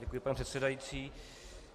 Děkuji, pane předsedající.